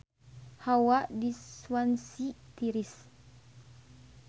Hawa di Swansea tiris